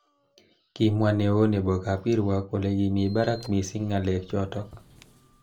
Kimwa neo nebo kab kirwok kole kimi barak missing ngalek chotok.